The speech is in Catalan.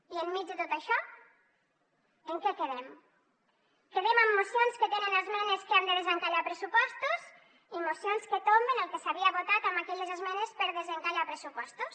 i enmig de tot això en què quedem quedem amb mocions que tenen esmenes que han de desencallar pressupostos i mocions que tomben el que s’havia votat amb aquelles esmenes per desencallar pressupostos